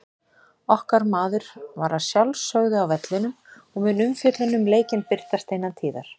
Okkar maður var að sjálfsögðu á vellinum og mun umfjöllun um leikinn birtast innan tíðar.